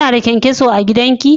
Kina da kyan-kyaso a gidan ki?